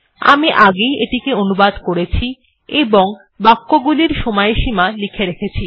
আমি আগেই এটি অনুবাদ করেছি এবং বাক্যগুলির সময়সীমা লিখে রেখেছি